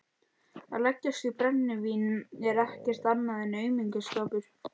Að leggjast í brennivín er ekkert annað en aumingjaskapur.